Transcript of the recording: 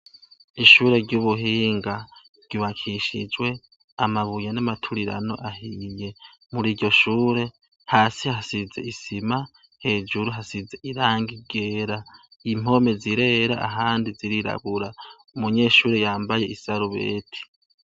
Ishure ry’ubuhinga rybakishijwe amabuye n’amaturirano ahiye, muriryo shure, hasi hasize isima, hejuru hasize irangi ryera. Impome zirera ahandi zirirabura. Umunyeshure yambaye isarubeti.